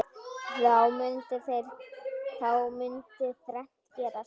Þá mundi þrennt gerast